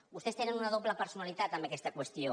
vostès tenen una doble personalitat en aquesta qüestió